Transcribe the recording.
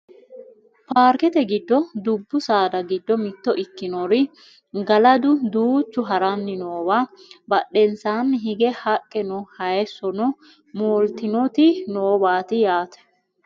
Paarkete giddo dubbu saada giddo mitto ikkinori galadu duuchu haranni noowa badhensaanni hige haqqe no hayeessono mooltinoti nowaati yaate .